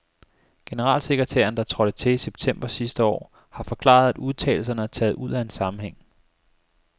Generalsekretæren, der trådte til i september sidste år, har forklaret, at udtalelserne er taget ud af en sammenhæng.